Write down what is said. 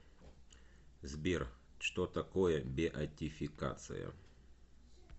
сбер что такое беатификация